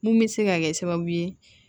Mun bɛ se ka kɛ sababu ye